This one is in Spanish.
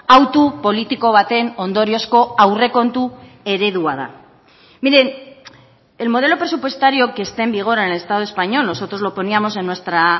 hautu politiko baten ondoriozko aurrekontu eredua da miren el modelo presupuestario que está en vigor en el estado español nosotros lo poníamos en nuestra